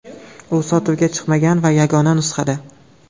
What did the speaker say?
U sotuvga chiqmagan va yagona nusxada.